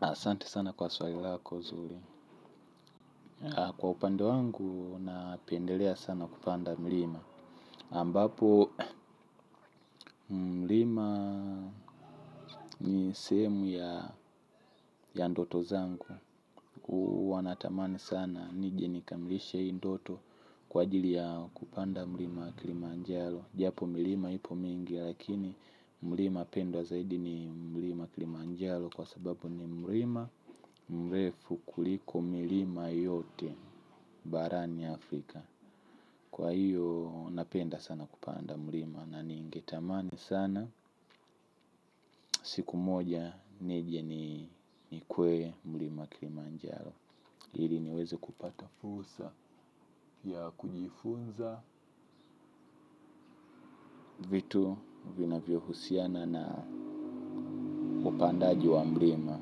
Asante sana kwa swali lako zuri. Kwa upandome wangu, napendelea sana kupanda mlima. Ambapo, mlima ni sehemu ya ndoto zangu. Huwa natamani sana nije nikamilishe hii ndoto kwa ajili ya kupanda mlima kilimanjaro. Japo milima hipo mingi, lakini mlima pendwa zaidi ni mlima kilimanjaro. Kwa sababu ni mlima mrefu kuliko milima yote. Barani Afrika, Kwa hiyo napenda sana kupanda mlima na ningetamani sana siku moja nije nikwe mlima kilimanjaro ili niweze kupata fursa ya kujifunza vitu vinavilyohusiana na upandaji wa mlima